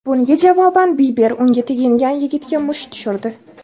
Bunga javoban Biber unga tegingan yigitga musht tushirdi.